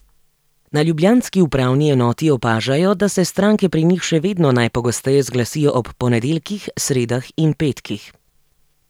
Na ljubljanski upravni enoti opažajo, da se stranke pri njih še vedno najpogosteje zglasijo ob ponedeljkih, sredah in petkih.